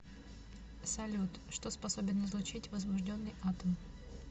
салют что способен излучить возбужденный атом